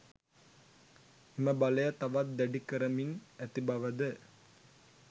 එම බලය තවත් දැඩි කරමින් ඇති බවද